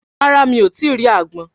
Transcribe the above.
Rárá mi o rí àgbọn